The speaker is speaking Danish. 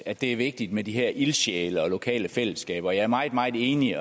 at det er vigtigt med de her ildsjæle og lokale fællesskaber og jeg er meget meget enig